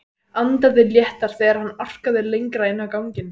Andaði léttar þegar hann arkaði lengra inn á ganginn.